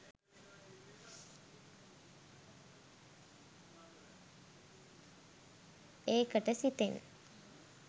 ඒකට සිතෙන්